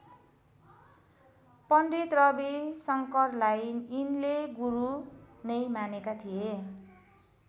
पण्डित रवि शङ्करलाई यिनले गुरू नै मानेका थिए।